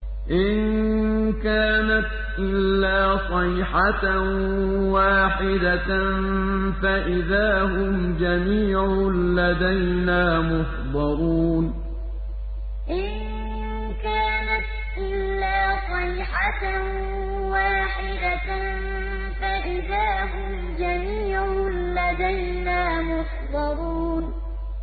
إِن كَانَتْ إِلَّا صَيْحَةً وَاحِدَةً فَإِذَا هُمْ جَمِيعٌ لَّدَيْنَا مُحْضَرُونَ إِن كَانَتْ إِلَّا صَيْحَةً وَاحِدَةً فَإِذَا هُمْ جَمِيعٌ لَّدَيْنَا مُحْضَرُونَ